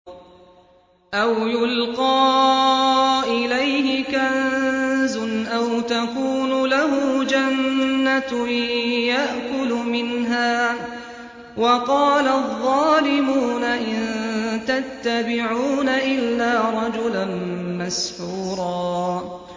أَوْ يُلْقَىٰ إِلَيْهِ كَنزٌ أَوْ تَكُونُ لَهُ جَنَّةٌ يَأْكُلُ مِنْهَا ۚ وَقَالَ الظَّالِمُونَ إِن تَتَّبِعُونَ إِلَّا رَجُلًا مَّسْحُورًا